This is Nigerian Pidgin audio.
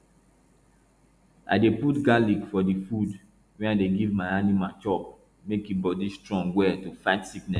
i dey put garlic for the food wey i dey give my animal chop make e body strong well to fight sickness